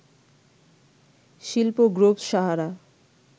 শিল্পগ্রুপ Sahara